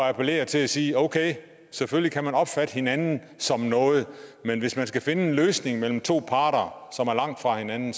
at appellere til at sige okay selvfølgelig kan man opfatte hinanden som noget men hvis man skal finde en løsning mellem to parter som er langt fra hinanden